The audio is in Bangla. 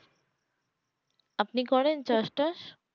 আপনি করেন চাষ টাস